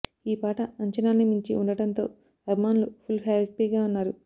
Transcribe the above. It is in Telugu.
ఈ పాట అంచనాల్ని మించి ఉండడంతో అభిమానులు ఫుల్ హ్యాపీగా ఉన్నారు